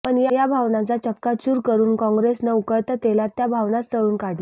पण या भावनांचा चक्काचूर करून काँग्रेसने उकळत्या तेलात त्या भावनाच तळून काढल्या